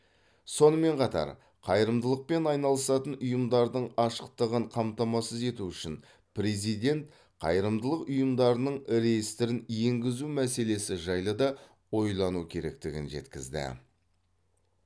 сонымен қатар қайырымдылықпен айналысатын ұйымдардың ашықтығын қамтамасыз ету үшін президент қайырымдылық ұйымдарының реестрін енгізу мәселесі жайлы да ойлану керектігін жеткізді